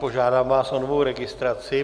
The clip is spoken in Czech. Požádám vás o novou registraci.